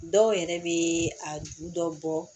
Dɔw yɛrɛ bɛ a juru dɔ bɔ